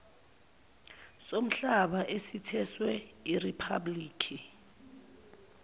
somhlaba esithweswe iriphablikhi